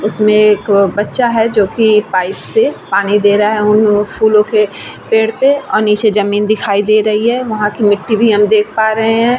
उसमे एक बच्चा है जो की पाइप से पानी दे रहा है उन फूलो के पेड़ पे और नीचे जमीन दिखाई दे रही है वहाँ के मिट्टी भी हम देख पा रहे है ।